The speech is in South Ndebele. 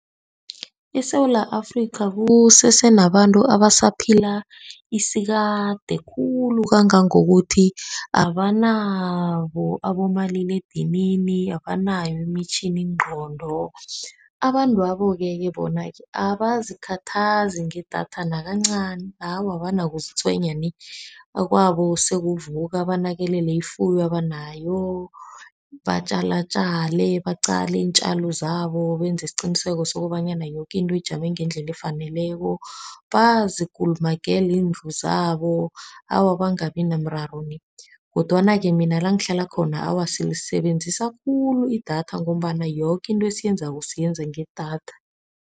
ESewula Afrika kusese nabantu abasaphila isikade khulu, kangangokuthi abanabo abomaliledinini, abanayo imitjhiningqondo. Abantwaboke-ke bona-ke abazikhathazi ngedatha nakancani. Awa, abanakuzitshwenya nie. Kwabo sekuvuka banakelele ifuyo abanayo, batjalatjale, baqale iintjalo zabo, benze isiqiniseko sokobanyana yoke into ijame ngendlela efaneleko, bazikulumagele izindlu zabo. Awa bangabi nomraro nie. Kodwana-ke mina la ngihlala khona, awa silisebenzisa khulu idatha ngombana yoke into esiyenzako siyenza ngedatha.